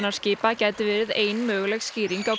hvalaskoðunarskipa gæti verið ein möguleg skýring á